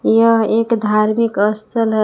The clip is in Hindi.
यह एक धार्मिक अस्थल है।